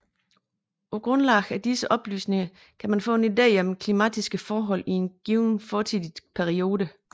På grundlag af disse oplysninger kan man få en ide om klimatiske forhold i en given fortidig periode